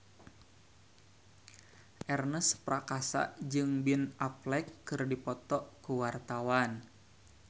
Ernest Prakasa jeung Ben Affleck keur dipoto ku wartawan